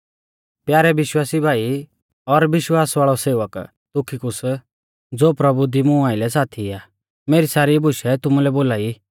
प्यारै विश्वासी भाई और विश्वास वाल़ौ सेवक तुखिकुस ज़ो प्रभु दी मुं आइलै साथी आ मेरी सारी बुशै तुमुलै बोलाई